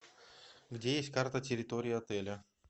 где есть карта территории отеля